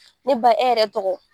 Ne ba e yɛrɛ tɔgɔ